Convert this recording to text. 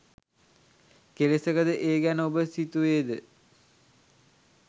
කෙලෙසක ද ඒ ගැන ඔබ සිතුවේද?